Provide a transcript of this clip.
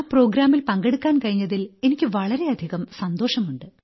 ആ പരിപാടിയിൽ പങ്കെടുക്കാൻ കഴിഞ്ഞതിൽ എനിക്ക് വളരെയധികം സന്തോഷമുണ്ട്